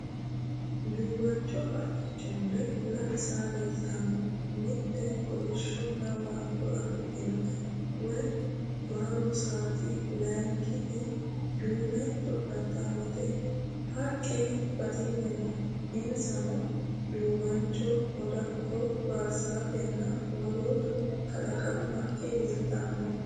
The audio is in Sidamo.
Duuwancho haqqicho mule lame saa leelttanoe. Mitte kolishshonna waajjo afidhinote woyi barro saati lankiti duume coodhittaameeti. Haqqe batinye no insano duuwancho, daadakko, baarzaafenna woloottu kalaqamu haqqe leeltanno.